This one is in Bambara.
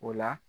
O la